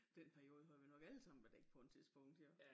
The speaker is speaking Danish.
Dén periode har vi nok alle sammen været i på et tidspunkt jo